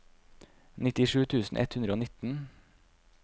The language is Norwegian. nittisju tusen ett hundre og nitten